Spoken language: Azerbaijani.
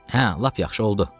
Hə, lap yaxşı oldu.